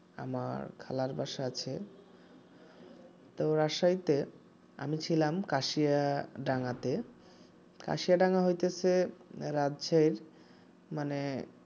আমার খালার বাসা আছে তো রাজশাহীতে ছিলাম কাশিয়াডাঙ্গাতে কাশিয়াডাঙ্গা হইতাছে রাজশাহী মানে